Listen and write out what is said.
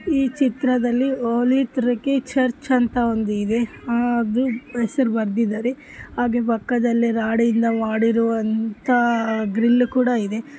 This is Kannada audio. ಈ ಚಿತ್ರದಲ್ಲಿ ಹೋಲಿ ಟ್ರಿನಿಟಿ ಚರ್ಚ್ ಅಂತ ಒಂದು ಇದೆ ಹಾಗೆ ಹೆಸರು ಬರ್ದಿದ್ದಾರೆ ಹಾಗೆ ಪಕ್ಕದಲ್ಲಿ ರಾಡ್ ಇಂದ ಮಾಡಿರುವಂತಹ ಗ್ರಿಲ್ ಕೂಡ ಇದೆ.